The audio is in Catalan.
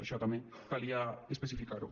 això també calia especificar ho